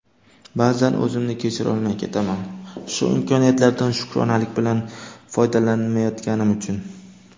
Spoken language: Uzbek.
ba’zan o‘zimni kechirolmay ketaman shu imkoniyatlardan shukronalik bilan foydalanmayotganim uchun.